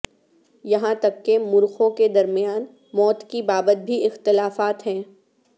یہاں تک کہ مورخوں کے درمیان موت کی بابت بھی اختلافات ہیں